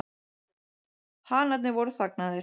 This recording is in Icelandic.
Hanarnir voru þagnaðir.